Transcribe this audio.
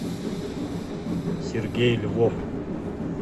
сергей львов